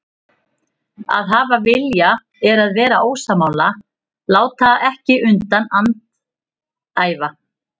Að hafa vilja er að vera ósammála, láta ekki undan, andæfa.